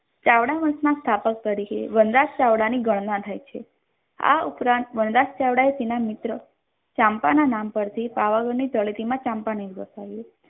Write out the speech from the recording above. ચાવડા વંશના સ્થાપક તરીકે વનરાજ ચાવડાની ઘરના થાય છે આ ઉપરાંત વનરાજ ચાવડાએ તેના મિત્ર ચાંપાના નામ પરથી પાવાગઢની તળેટીમાં ચાંપાનેર વસાવ્યું.